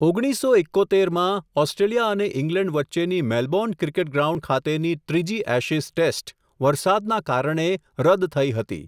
ઓગણીસસો એક્કોતેર માં, ઓસ્ટ્રેલિયા અને ઈંગ્લેન્ડ વચ્ચેની મેલબોર્ન ક્રિકેટ ગ્રાઉન્ડ ખાતેની ત્રીજી એશિઝ ટેસ્ટ, વરસાદના કારણે રદ થઇ હતી.